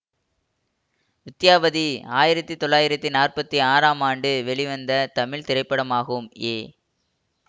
வித்யாபதி ஆயிரத்தி தொளாயிரத்தி நாற்பத்தி ஆறாம் ஆண்டு வெளிவந்த தமிழ் திரைப்படமாகும் ஏ